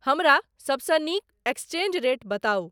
हमरा सबसँ नीक एक्सचेंज रेट बताउ